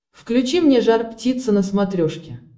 включи мне жар птица на смотрешке